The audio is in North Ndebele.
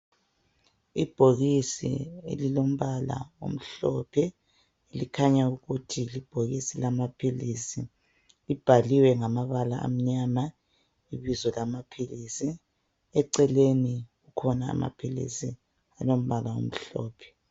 Ibhokisi elilombala omhlophe likhanya ukuthi libhokisi lamaphilisi. Libhaliwe ngamabala amnyama ibizo laphilisi. Eceleni kukhona amaphilisi alombala omhlophe.